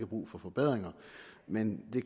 brug for forbedringer men det